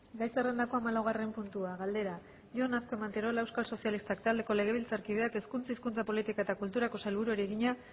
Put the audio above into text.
gai zerrendako hamalaugarren puntua galdera jon azkue manterola euskal sozialistak taldeko legebiltzarkideak hezkuntza hizkuntza politika eta kulturako sailburuari egina